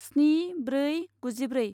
स्नि ब्रै गुजिब्रै